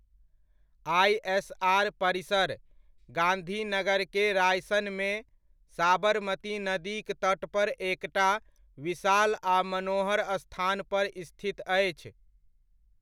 ISR परिसर, गांधीनगरके रायसनमे, साबरमती नदीक तट पर एकटा विशाल आ मनोहर स्थान पर स्थित अछि।